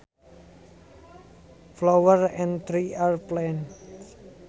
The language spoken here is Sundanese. Flowers and trees are plants